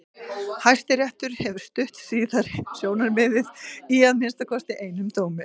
Hæstiréttur hefur stutt síðara sjónarmiðið í að minnsta kosti einum dómi.